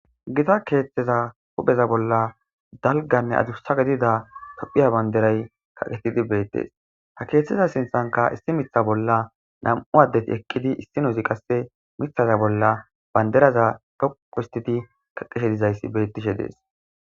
gita keeththeza hupheza bolla dalganne adusa gedida tophiya banderay kaqetidi beettes ha keeththiza sinthanka issi mitha bolla nam7u addeti eqqidi issi nozi qasse mithaza bolla banderaza toqohistidi kaqeshe dizayssi bettishe dees.